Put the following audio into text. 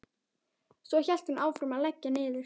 Svo hélt hún áfram að leggja niður.